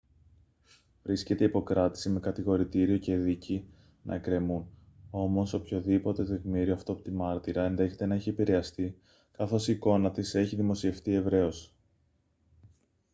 βρίσκεται υπό κράτηση με κατηγορητήριο και δίκη να εκκρεμούν όμως οποιοδήποτε τεκμήριο αυτόπτη μάρτυρα ενδέχεται να έχει επηρεαστεί καθώς η εικόνα της έχει δημοσιευτεί ευρέως